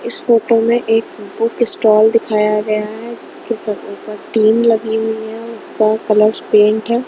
इस फोटो में एक बुक स्टॉल दिखाया गया है जिसके स ऊपर टीन लगी हुईं हैं और कलर पेंट है।